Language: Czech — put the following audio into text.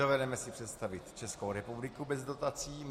Dovedeme si představit Českou republiku bez dotací.